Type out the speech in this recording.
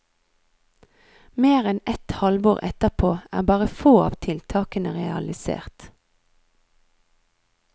Mer enn et halvår etterpå er bare få av tiltakene realisert.